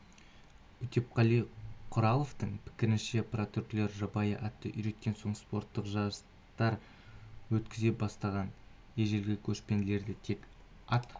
өтепқали құраловтың пікірінше прототүркілер жабайы атты үйреткен соң спорттық жарыстар өткізе бастаған ежелгі көшпелілерде тек ат